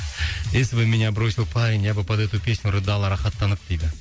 если бы меня бросил парень я под эту песню рыдала рахаттанып дейді